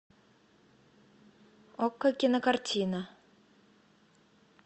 окко кинокартина